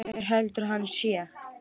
Hver heldur að hann sé?